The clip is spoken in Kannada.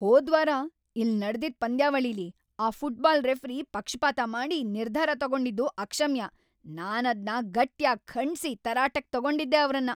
ಹೋದ್ವಾರ ಇಲ್ಲ್‌ ನಡ್ದಿದ್ ಪಂದ್ಯಾವಳಿಲಿ ಆ ಫುಟ್ಬಾಲ್ ರೆಫ್ರಿ ಪಕ್ಷಪಾತ ಮಾಡಿ ನಿರ್ಧಾರ ತಗೊಂಡಿದ್ದು ಅಕ್ಷಮ್ಯ, ನಾನದ್ನ ಗಟ್ಯಾಗಿ ಖಂಡ್ಸಿ ತರಾಟೆಗ್‌ ತಗೊಂಡಿದ್ದೆ ಅವ್ರನ್ನ.